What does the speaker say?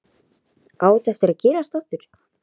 Á þetta eftir að gerast aftur?